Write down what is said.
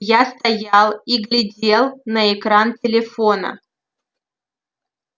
я стоял и глядел на экран телефона